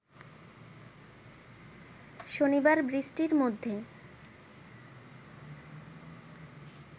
শনিবার বৃষ্টির মধ্যে